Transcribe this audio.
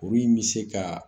Kuru in bɛ se ka